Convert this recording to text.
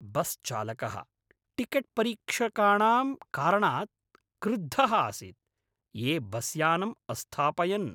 बस्चालकः टिकेट्परीक्षकाणां कारणात् क्रुद्धः आसीत्, ये बस्यानं अस्थापयन्।